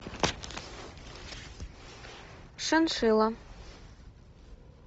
шиншилла